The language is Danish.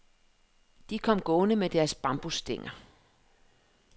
De kom gående med deres bambusstænger.